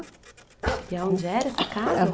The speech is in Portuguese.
E aonde era essa casa?